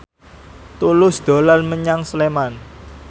Tulus dolan menyang Sleman